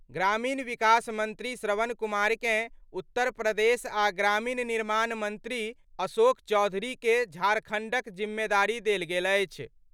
ग्रामीण विकास मंत्री श्रवण कुमारकेँ उत्तर प्रदेश आ ग्रामीण निर्माण मंत्री अशोक चौधरीके झारखण्डक जिम्मेदारी देल गेल अछि।